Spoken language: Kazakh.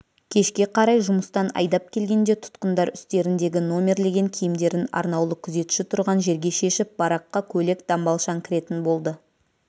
кешке қарай жұмыстан айдап келгенде тұтқындар үстеріндегі номерлеген киімдерін арнаулы күзетші тұрған жерге шешіп бараққа көйлек-дамбалшаң кіретін болды